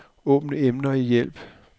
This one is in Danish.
Åbn emner i hjælp.